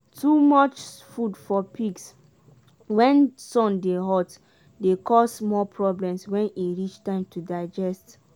too much food for pigs when sun dey hot dey cause more problems when e reach time to digest.